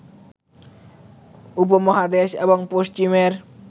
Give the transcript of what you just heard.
উপমহাদেশ এবং পশ্চিমের